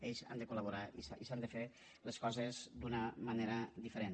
ells hi han de col·laborar i s’han de fer les coses d’una manera diferent